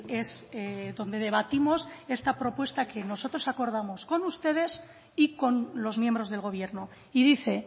es donde debatimos esta propuesta que nosotros acordamos con ustedes y con los miembros del gobierno y dice